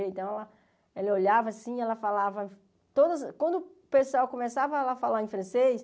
Então, ela ela olhava assim, ela falava todas... Quando o pessoal começava a falar em francês,